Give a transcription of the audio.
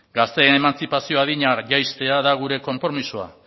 gazte emantzipazio adina jaistea da gure konpromisoa